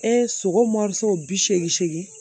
E sogo bi seegin segin